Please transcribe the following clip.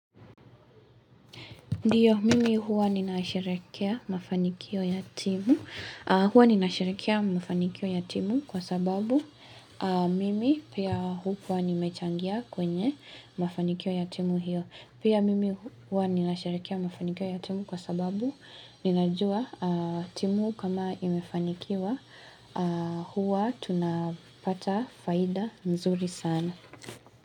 Ndio, mimi huwa nina sherekea mafanikio ya timu kwa sababu mimi pia hukuwa nimechangia kwenye mafanikio ya timu hiyo. Pia mimi huwa nina sherekea mafanikio yatimu kwa sababu ninajuwa timu kama imefanikiwa huwa tunapata faida nzuri sana.